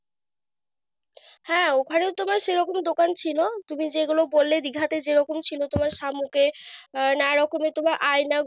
হ্যাঁ ওখানে তোমার সেরকম দোকান ছিল। তুমি যে যেগুলো বললে দিঘাতে যেরকম ছিল তোমার শামুকের। আহ নানা রকমের তোমার আয়না,